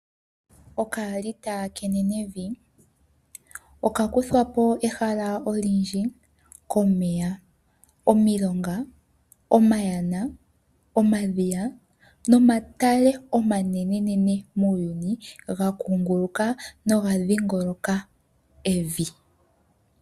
Okaalita kenenevi oka kuthwapo ehala olindji komeya omilonga omayana, omadhiya nomatale omanene muuyuni ga kunguluka noga dhiingoloka evi.